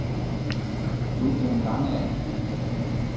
Uldum Langager